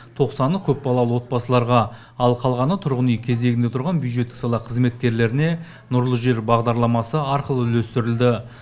тоқсаны көпбалалы отбасыларға ал қалғаны тұрғын үй кезегінде тұрған бюджеттік сала қызметкерлеріне нұрлы жер бағдарламасы арқылы үлестірілді